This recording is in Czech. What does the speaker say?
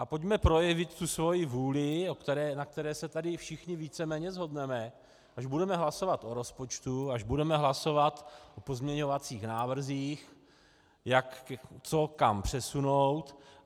A pojďme projevit tu svoji vůli, na které se tady všichni víceméně shodneme, až budeme hlasovat o rozpočtu, až budeme hlasovat o pozměňovacích návrzích, co kam přesunout.